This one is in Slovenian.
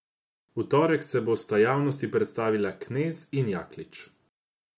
V torek se bosta javnosti predstavila Knez in Jaklič.